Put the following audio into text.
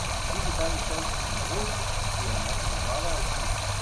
Digitalni števci so novost, ki je ne odobravajo vsi.